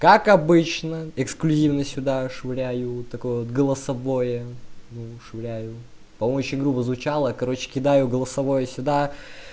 как обычно эксклюзивно сюда швыряю такое вот голосовое ну швыряю там очень грубо звучало короче кидаю голосовое сюда